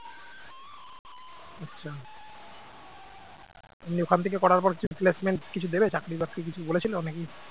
এমনি ওখান থেকে করার পর কিছু placement কিছু দেবে? চাকরি-বাকরি বলেছিল নাকি